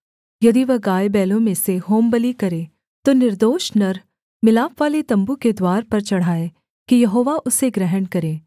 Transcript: यदि वह गायबैलों में से होमबलि करे तो निर्दोष नर मिलापवाले तम्बू के द्वार पर चढ़ाए कि यहोवा उसे ग्रहण करे